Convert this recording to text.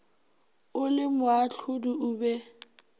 o le moahlodi o be